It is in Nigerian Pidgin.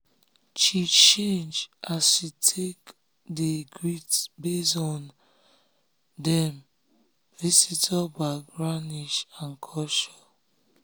she change as she take um dey greet base um on dem um on dem visitor backgroundage and culture.